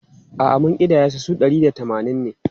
A’a, mun ƙidaya su, su ɗari da tamanin ne.